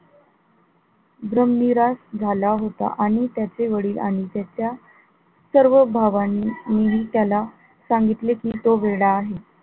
भ्रमनिरास झाला होता आणि त्याचे वडील आणि त्याच्या सर्व भावांनी त्याला सांगितले कि तो वेडा आहे.